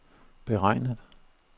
beregnet